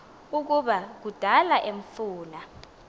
ukuba kudala emfuna